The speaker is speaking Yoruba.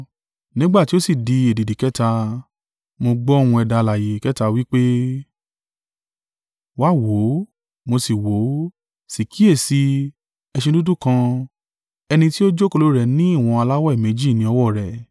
Nígbà tí ó sì di èdìdì kẹta, mo gbọ́ ohùn ẹ̀dá alààyè kẹta wí pé, “Wá wò ó”. Mo sì wò ó, sì kíyèsi i, ẹṣin dúdú kan; ẹni tí ó jókòó lórí rẹ̀ ní ìwọ̀n aláwẹ́ méjì ní ọwọ́ rẹ̀.